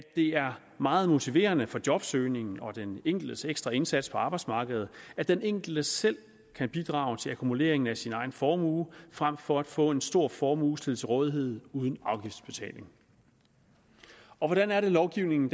det er meget motiverende for jobsøgningen og den enkeltes ekstra indsats på arbejdsmarkedet at den enkelte selv kan bidrage til akkumuleringen af sin egen formue frem for at få en stor formue stillet til rådighed uden afgiftsbetaling hvordan er lovgivningen